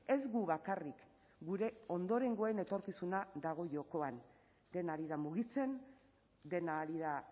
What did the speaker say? ez gu bakarrik gure ondorengoen etorkizuna dago jokoan dena ari da mugitzen dena ari da